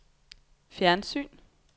fjernsyn